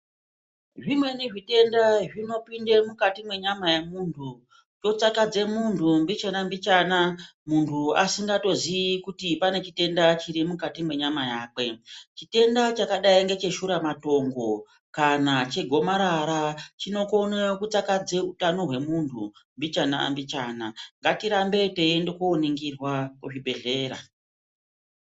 Zvimweni zvitenda zvinopinde mukati mwenyama yemuntu, chotsakadze muntu mbichana-mbichana muntu asingatozii kuti pane chitenda chiti mukati mwenyama yakwe. Chitenda chakadai necheshuramatongo kana chegomarara chinokona kutsakadze hutano hwemuntu mbichana-mbichana. Ngatirambe teiende kuoningirwa kuzvibhedhlera